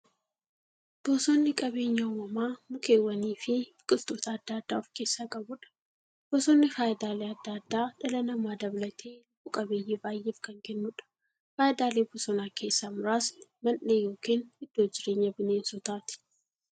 Bosonni qabeenya uumamaa mukkeewwaniifi biqiltoota adda addaa of keessaa qabudha. Bosonni faayidaalee adda addaa dhala namaa dabalatee lubbuu qabeeyyii baay'eef kan kennuudha. Faayidaalee bosonaa keessaa muraasni; Mandhee yookin iddoo jireenya bineensotaati.